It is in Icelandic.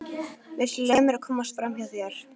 Viltu leyfa mér að komast framhjá þér!